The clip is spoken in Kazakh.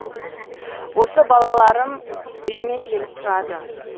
осы балаларым үйіме келіп тұрады